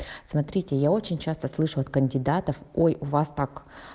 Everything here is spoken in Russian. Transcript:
смотрите я очень часто слышу от кандидатов ой у вас так